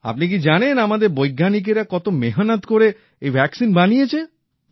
আপনি কি জানেন আমাদের বৈজ্ঞানিকেরা কত কষ্ট করে এই টিকা বানিয়েছে